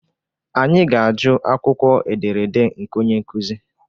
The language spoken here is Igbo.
Anyị ga-ajụ akwụkwọ ederede nke onye nkuzi